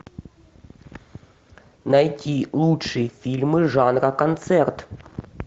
найти лучшие фильмы жанра концерт